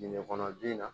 Dingɛ kɔnɔ den na